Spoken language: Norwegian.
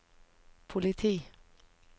politi